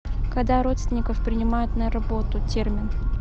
когда родственников принимают на работу термин